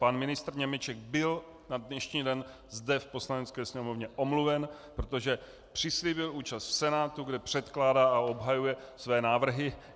Pan ministr Němeček byl na dnešní den zde v Poslanecké sněmovně omluven, protože přislíbil účast v Senátu, kde předkládá a obhajuje své návrhy.